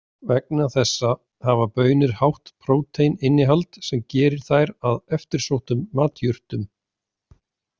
Vegna þessa hafa baunir hátt próteininnihald sem gerir þær að eftirsóttum matjurtum.